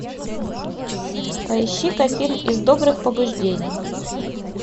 поищи ка фильм из добрых побуждений